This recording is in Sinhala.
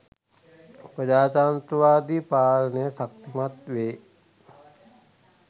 ප්‍රජාතන්ත්‍රවාදි පාලනය ශක්තිමත් වේ.